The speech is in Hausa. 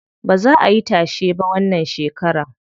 Baza ayi tashe ba wannan shekaran.